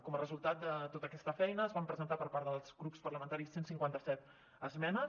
com a resultat de tota aquesta feina es van presentar per part dels grups parlamentaris cent i cinquanta set esmenes